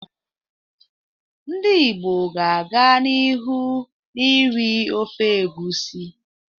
Ndị Igbo ga-aga n'ihu na-eri ofe egusi.